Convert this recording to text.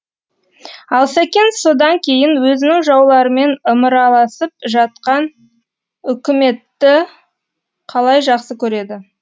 ал сәкен содан кейін өзінің жауларымен ымыраласып жатқан үкіметті қалай жақсы көреді